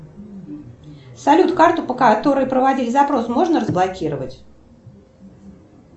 салют карту по которой проводили запрос можно разблокировать